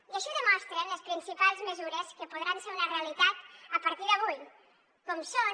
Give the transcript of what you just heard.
i així ho demostren les principals mesures que podran ser una realitat a partir d’avui com són